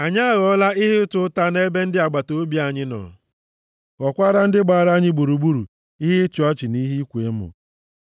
Anyị aghọọla ihe ịta ụta nʼebe ndị agbataobi anyị nọ, ghọọkwara ndị gbara anyị gburugburu ihe ịchị ọchị, na ihe ịkwa emo.